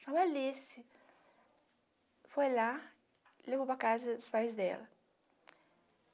Chama Alice, foi lá, levou para a casa os pais dela.